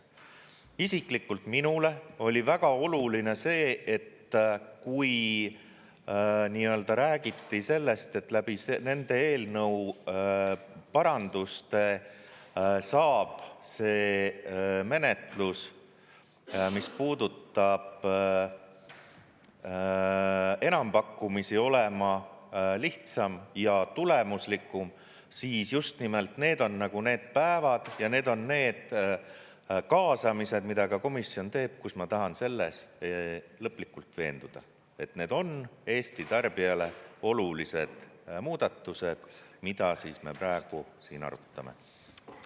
Isiklikult minule oli väga oluline see, et kui räägiti sellest, et läbi nende eelnõu paranduste saab see menetlus, mis puudutab enampakkumisi, olema lihtsam ja tulemuslikum, siis just nimelt need on need päevad ja need on need kaasamised, mida ka komisjon teeb, kus ma tahan selles lõplikult veenduda, et need on Eesti tarbijale olulised muudatused, mida me praegu siin arutame.